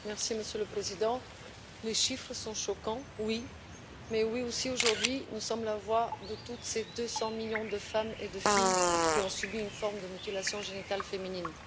Monsieur le Président, les chiffres sont choquants, oui, mais aujourd'hui, nous sommes aussi la voix de ces 200 millions de femmes et de filles qui ont subi une forme de mutilation génitale féminine.